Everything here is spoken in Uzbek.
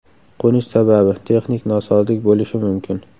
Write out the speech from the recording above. Qo‘nish sababi – texnik nosozlik bo‘lishi mumkin.